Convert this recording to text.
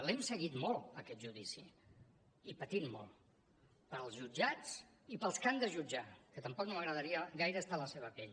l’hem seguit molt aquest judici i patit molt pels jutjats i pels que han de jutjar que tampoc no m’agradaria gaire estar a la seva pell